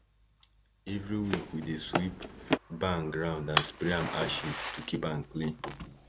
every week we dey sweep barn ground and spray am ashes to keep am clean